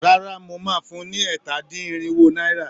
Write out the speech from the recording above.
Rárá, mo máa fun ni ẹ̀ta-dín-irinwo náírà.